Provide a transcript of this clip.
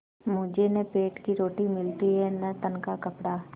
मुझे न पेट की रोटी मिलती है न तन का कपड़ा